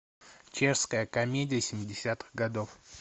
чешская комедия семидесятых годов